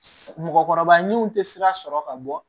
Mɔgɔkɔrɔba min tɛ sira sɔrɔ ka bɔ